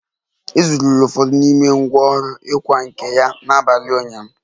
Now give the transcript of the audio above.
E zuru ụfọdụ n'ime ngwá ọrụ ịkwa nkà ya n'abalị ụnyaahụ